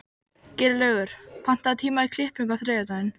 Geirlaugur, pantaðu tíma í klippingu á þriðjudaginn.